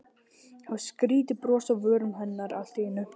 Það var skrýtið bros á vörum hennar allt í einu.